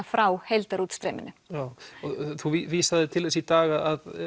frá heildarútstreyminu þú vísaðir til þess í dag að